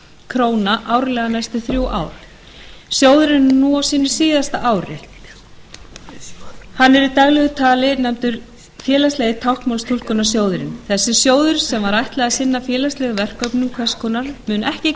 króna árlega næstu þrjú ár sjóðurinn er núna á sínu síðasta ári hann er í daglegu tali nefndur félagslegi táknmálstúlkunarsjóðurinn þessi sjóður sem var ætlað að sinna hvers konar félagslegum verkefnum mun ekki